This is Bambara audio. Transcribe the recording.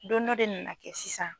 Don dɔ de nana kɛ sisan.